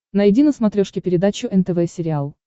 найди на смотрешке передачу нтв сериал